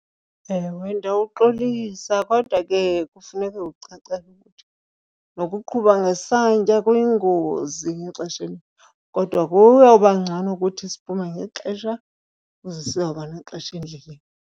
Ewe ndawuxolisa kodwa ke kufuneke ucacelwe ukuthi nokuqhuba ngesantya kuyingozi ngexesha elinintsi, kodwa kuyoba ngcono ukuthi siphume ngexesha ukuze sizawuba nexesha endleleni.